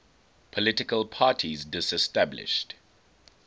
political parties disestablished